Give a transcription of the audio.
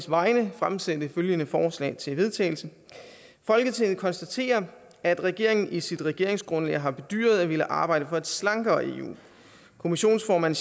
vegne fremsætte følgende forslag til vedtagelse folketinget konstaterer at regeringen i sit regeringsgrundlag har bedyret at ville arbejde for et slankere eu kommissionsformand